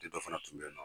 dɔ fana tun bɛ yen nɔ